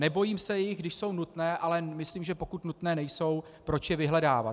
Nebojím se jich, když jsou nutné, ale myslím, že pokud nutné nejsou, proč je vyhledávat.